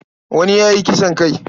Wani ya yi kisan kai.